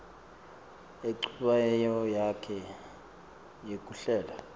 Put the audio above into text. enchubeni yakhe yekuhlela